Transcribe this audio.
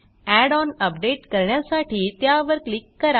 add on update करण्यासाठी त्यावर click करा